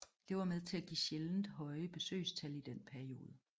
Det var med til at give sjældent høje besøgstal i den periode